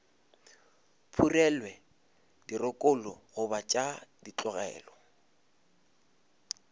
phurelwe dirokolo goba tša tlolelwa